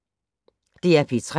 DR P3